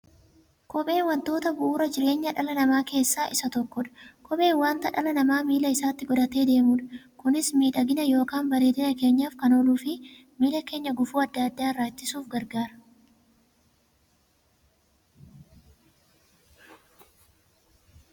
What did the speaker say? Kopheen wantoota bu'uura jireenya dhala namaa keessaa isa tokkodha. Kopheen wanta dhalli namaa miilla isaatti godhatee deemudha. Kunis miidhagani yookiin bareedina keenyaf kan ooluufi miilla keenya gufuu adda addaa irraa ittisuuf gargaara.